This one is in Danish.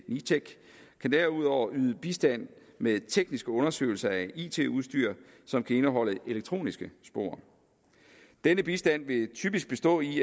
nitec kan derudover yde bistand med tekniske undersøgelser af it udstyr som kan indeholde elektroniske spor denne bistand vil typisk bestå i